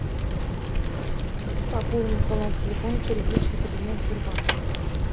пополнить баланс телефона через личный кабинет сбербанка